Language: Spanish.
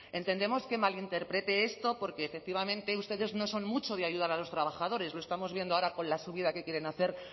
entendemos que malinterprete esto porque efectivamente ustedes no son mucho de ayudar a los trabajadores lo estamos viendo ahora con la subida que quieren hacer